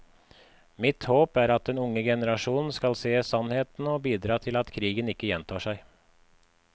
Mitt håp er at den unge generasjon skal se sannheten og bidra til at krigen ikke gjentar seg.